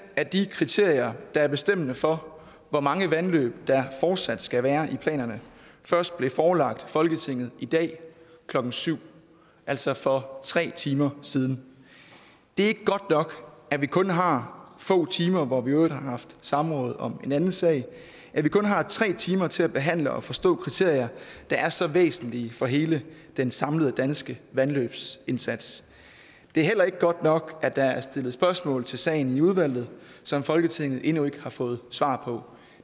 at de kriterier der er bestemmende for hvor mange vandløb der fortsat skal være i planerne først blev forelagt folketinget i dag klokken syv altså for tre timer siden det er ikke godt nok at vi kun har få timer hvor vi i øvrigt også har haft samråd om en anden sag at vi kun har tre timer til at behandle og forstå kriterier der er så væsentlige for hele den samlede danske vandløbsindsats det er heller ikke godt nok at der er stillet spørgsmål til sagen i udvalget som folketinget endnu ikke har fået svar på